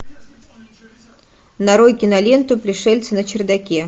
нарой киноленту пришельцы на чердаке